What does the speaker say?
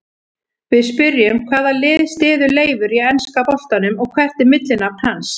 Við spyrjum: Hvaða lið styður Leifur í enska boltanum og hvert er millinafn hans?